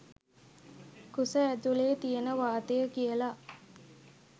කුස ඇතුලෙ තියෙන වාතය කියල.